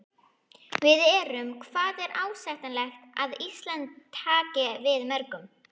Við erum, hvað er ásættanlegt að Ísland taki við mörgum?